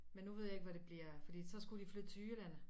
Men nu ved jeg ikke hvad det bliver fordi så skulle de flytte til Jylland